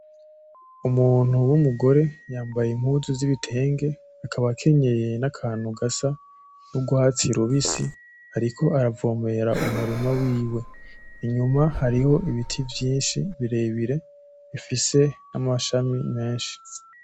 Umuntu w'umugore yambaye impuzu z'ibitenge akaba akenyeye n'akantu gasa n'urwatsi rubisi ariko aravomera umurima wiwe, inyuma hariho ibiti vyinshi birebire bifise n'amashami menshi.